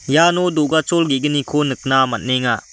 iano do·gachol ge·gniko nikna man·enga.